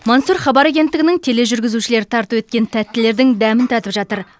мансұр хабар агенттігінің тележүргізушілері тарту еткен тәттілердің дәмін татып жатыр